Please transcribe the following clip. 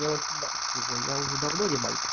мне восемнадцать уже я уже давно не мальчик